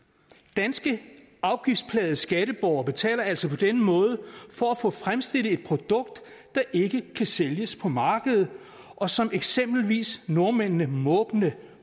danske afgiftsplagede skatteborgere betaler altså på denne måde for at få fremstillet et produkt der ikke kan sælges på markedet og som eksempelvis nordmændene måbende